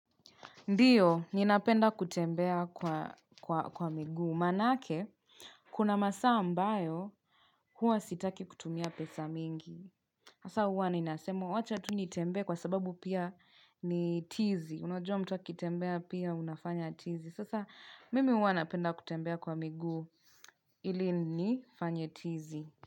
Ndiyo, ninapenda kutembea kwa miguu. Maanake, kuna masaa ambayo huwa sitaki kutumia pesa mingi. Hasa huwa ninasema, wacha tu nitembee kwa sababu pia ni tizi. Unajua mtu akitembea pia, unafanya tizi. Sasa, mimi huwa napenda kutembea kwa miguu. Ili nifanye tizi.